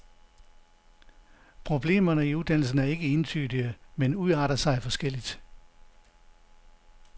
Problemerne i uddannelsen er ikke entydige, men udarter sig forskelligt.